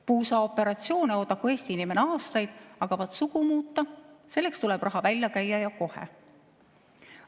Puusaoperatsiooni oodaku Eesti inimene aastaid, aga vaat sugu muuta, selleks tuleb raha välja käia ja kohe.